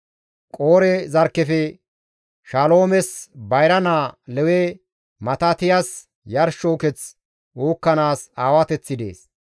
Qoore zarkkefe Shaloomes bayra naa Lewe Matitiyas yarsho uketh uukkanaas aawateththi dees.